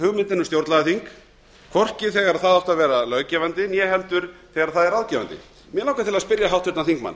hugmyndina um stjórnlagaþing hvorki þegar það átti að vera löggefandi né heldur þegar það er ráðgefandi mig langar til a spyrja háttvirtan þingmann